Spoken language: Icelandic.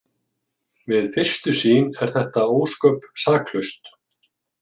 Við fyrstu sýn er þetta ósköp saklaust.